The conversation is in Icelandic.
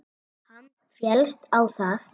Hann féllst á það.